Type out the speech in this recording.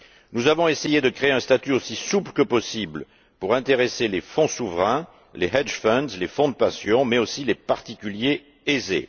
Nous avons essayé de créer un statut aussi souple que possible pour intéresser les fonds souverains, les fonds spéculatifs, les fonds de pension, mais aussi les particuliers aisés.